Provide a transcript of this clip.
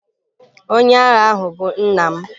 Onye agha ahụ bụ nna m.